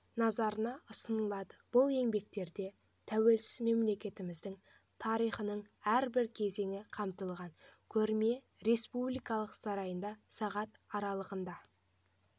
назарына ұсынылады бұл еңбектерде тәуелсіз мемлекетіміздің тарихының әрбір кезеңі қамтылған көрме республика сарайында сағат аралығында